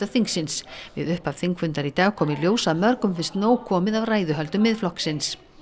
þingsins við upphaf þingfundar í dag kom í ljós að mörgum finnst nóg komið af ræðuhöldum Miðflokksins